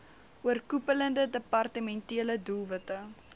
oorkoepelende departementele doelwitte